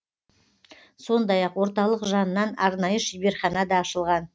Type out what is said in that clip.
сондай ақ орталық жанынан арнайы шеберхана да ашылған